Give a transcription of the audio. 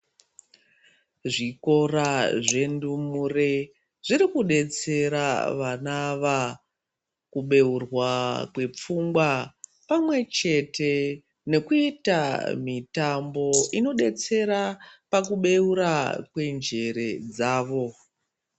Zvikora zvendumure zvirikubetsera vanava kubeurwa kwepfungwa, pamwe chete nekuita mitambo inobetsera pakubeura kwenjere dzavo.